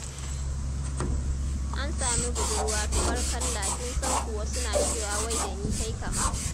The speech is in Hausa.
An sami "budurwa" tubarkalla kin san kuwa suna cewa wai da ni tai kama.